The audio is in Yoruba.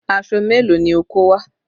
Aṣọ mélòó ni o kó wá?